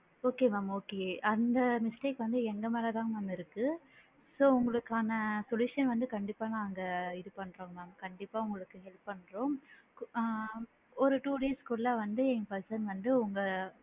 Okay mam okay அந்த mistake வந்து எங்க மேல தான் mam இருக்கு so உங்களுக்கான solution வந்து கண்டிப்பா நாங்க இது பண்றோம் mam கண்டிப்பா உங்களுக்கு help பண்றோம் ஆ ஒரு two days குள்ள வந்து எங்க person வந்து உங்க,